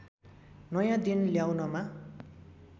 नयाँ दिन ल्याउनमा